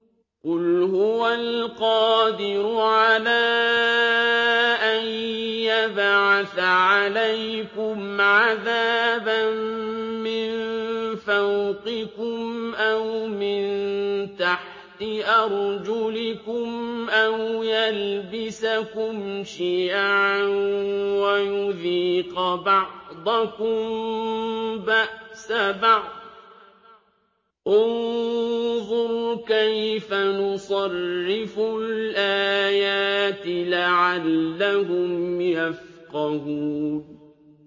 قُلْ هُوَ الْقَادِرُ عَلَىٰ أَن يَبْعَثَ عَلَيْكُمْ عَذَابًا مِّن فَوْقِكُمْ أَوْ مِن تَحْتِ أَرْجُلِكُمْ أَوْ يَلْبِسَكُمْ شِيَعًا وَيُذِيقَ بَعْضَكُم بَأْسَ بَعْضٍ ۗ انظُرْ كَيْفَ نُصَرِّفُ الْآيَاتِ لَعَلَّهُمْ يَفْقَهُونَ